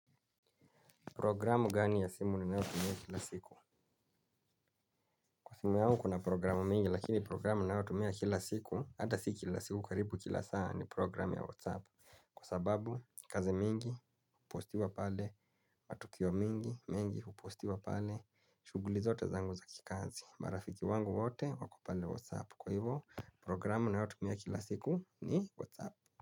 Programu gani ya simu ninayo tumia kila siku? Kwa simu yangu kuna programu mingi lakini programu ninayo tumia kila siku, ata siki kila siku karibu kila saa ni programu ya Whatsapp. Kwa sababu, kazi mingi hupostiwa pale, matukio mingi, mengi hupostiwa pale, shuguli zote zangu za kikazi, marafiki wangu wote wako pale Whatsapp. Kwa hivo, programu ninayo tumia kila siku ni Whatsapp.